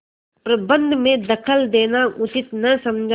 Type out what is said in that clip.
प्रबंध में दखल देना उचित न समझा